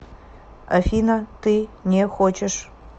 афина ты не хочешь